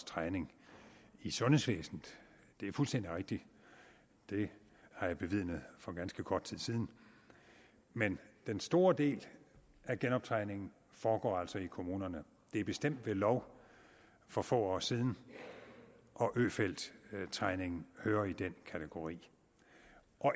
træning i sundhedsvæsenet det er fuldstændig rigtigt det har jeg bevidnet for ganske kort tid siden men den store del af genoptræningen foregår altså i kommunerne det er bestemt ved lov for få år siden og øfeldttræningen hører i den kategori